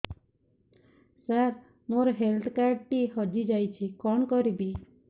ସାର ମୋର health card ଟି ହଜି ଯାଇଛି କଣ କରିବି